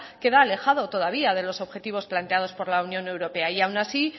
queda alejado todavía de los objetivos planteados por la unión europea y aun así